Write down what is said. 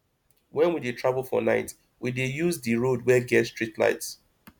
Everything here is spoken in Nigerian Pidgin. wen we dey travel for night we dey use di road wey get streetlights